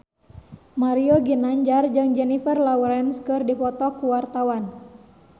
Mario Ginanjar jeung Jennifer Lawrence keur dipoto ku wartawan